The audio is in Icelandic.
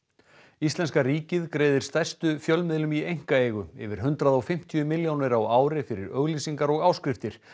íslenska ríkið greiðir stærstu fjölmiðlum í einkaeigu yfir hundrað og fimmtíu milljónir á ári fyrir auglýsingar og áskriftir